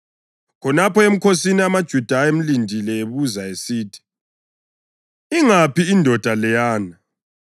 Khonapho emkhosini amaJuda ayemlindele ebuza esithi, “Ingaphi indoda leyana?”